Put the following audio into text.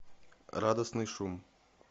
радостный шум